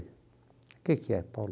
O que que é, Paulo?